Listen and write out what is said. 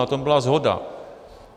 Na tom byla shoda.